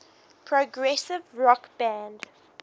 progressive rock band